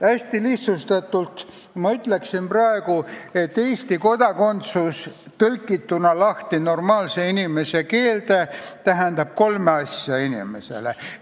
Hästi lihtsustatult ütlen praegu, et Eesti kodakondsus tõlgituna normaalse inimese keelde tähendab inimesele kolme asja.